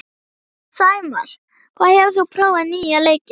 Sæmar, hefur þú prófað nýja leikinn?